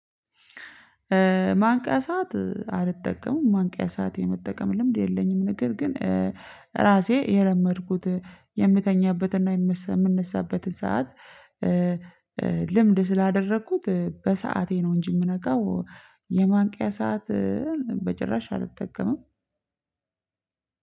ማንቂያ ሰዓት አልጠቀምም ማንቂያ ሰዓት የመጠቀም ልምድ የለኝም። ንግግር ግን ራሴ የለመድኩት የምተኛበትና የምነሳበት ሰዓት ኧ ልምድ ስላደረኩት በሰአቴ ነው እንጂ የምነቃው የማንቂያ ሰዓት። በጭራሽ አልተጠቀመም።